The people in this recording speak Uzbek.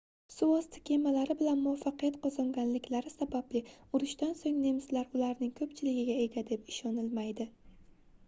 suvosti kemalari bilan muvaffaqiyat qozonganliklari sababli urushdan soʻng nemislar ularning koʻpchiligiga ega deb ishonilmaydi